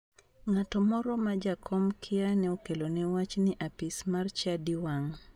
Ng'ato moro ma jakom kia ne okelone wach ni apis mar chadi wang'.